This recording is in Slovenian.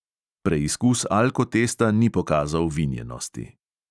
Preizkus alkotesta ni pokazal vinjenosti.